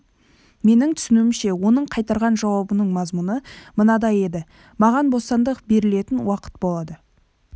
менің түсінуімше оның қайырған жауабының мазмұны мынадай еді маған бостандық берілетін уақыт болады